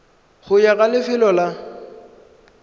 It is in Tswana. go ya ka lefelo la